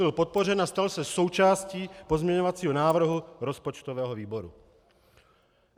Byl podpořen a stal se součástí pozměňovacího návrhu rozpočtového výboru.